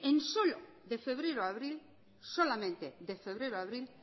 euskobarómetro afirma que en solamente de febrero a abril